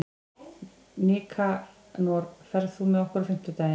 Nikanor, ferð þú með okkur á fimmtudaginn?